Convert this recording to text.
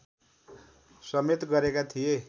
समेत गरेका थिए